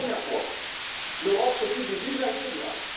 aériens. Et pour la première fois, l'Europe s'occupe des usagers